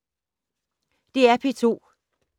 DR P2